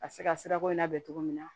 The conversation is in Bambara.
A bɛ se ka sirako in labɛn cogo min na